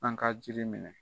An ka jiri minɛ!